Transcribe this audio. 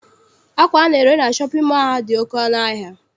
Akwa ana-ere na shọpịn mọọ a dị oké ọnụ ahịa.